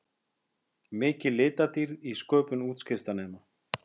Mikil litadýrð í sköpun útskriftarnema